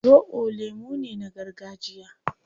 Zobo lemu ne na gargajiya